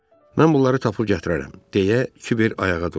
Mən bunları tapıb gətirərəm, deyə Kiber ayağa durdu.